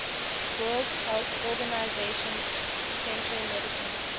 world health organization essential medicines